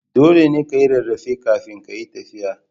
Dole ka yi rarrafe kafin kayi tafiya.